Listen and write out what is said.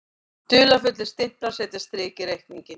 Dularfullir stimplar setja strik í reikninginn